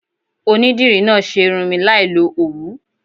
Onídìrí náà ṣe irun mi láì lo Òwú.